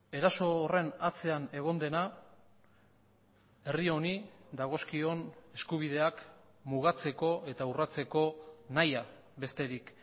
eraso horren atzean egon dena herri honi dagozkion eskubideak mugatzeko eta urratzeko nahia besterik